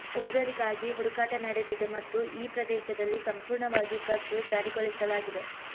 ಉಗ್ರರಿಗಾಗಿ ಹುಡುಕಾಟ ನಡೆದಿದೆ ಮತ್ತು ಈ ಪ್ರದೇಶದಲ್ಲಿ ಸಂಪೂರ್ಣವಾಗಿ ಕರ್ಫ್ಯೂ ಜಾರಿಗೊಳಿಸಲಾಗಿದೆ